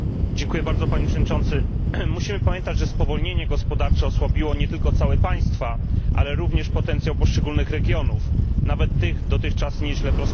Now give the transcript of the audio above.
Panie Przewodniczący! Musimy pamiętać, że spowolnienie gospodarcze osłabiło nie tylko całe państwa, ale również potencjał poszczególnych regionów, nawet tych, które dotychczas nieźle prosperowały.